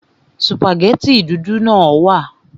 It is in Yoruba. Sùpàgẹ́tì dúdú náà wà